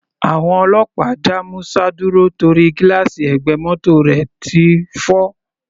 Àwọn ọlọ́pàá dá Musa dúró torí gílààsì ẹ̀gbẹ́ mótò rẹ̀ ti fọ́.